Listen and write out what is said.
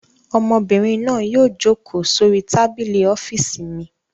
Ọmọbìnrin náà yóò jókòó sórí tábìlì ọ́fíísì mi.